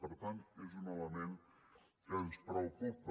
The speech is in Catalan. per tant és un element que ens preocupa